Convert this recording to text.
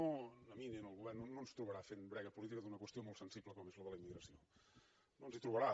ni a mi ni al govern no ens trobarà fent brega política d’una qüestió molt sensible com és la de la immigració no ens hi trobarà